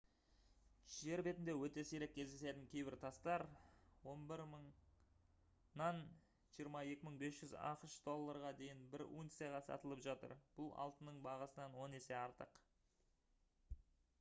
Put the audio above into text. жер бетінде өте сирек кездесетін кейбір тастар 11000-нан 22500 ақш долларға дейін бір унцияға сатылып жатыр бұл алтынның бағасынан он есе артық